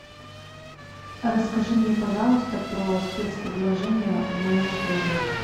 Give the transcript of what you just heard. расскажи мне пожалуйста про спецпредложения в моем отеле